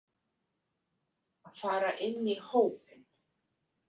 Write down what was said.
Fara inn í hópinn.